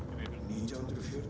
nítján hundruð